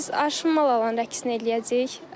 Biz aşımalan rəqsini eləyəcəyik.